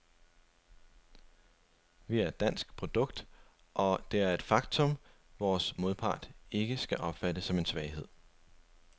Vi er et dansk produkt, og det er et faktum, vores modpart ikke skal opfatte som en svaghed.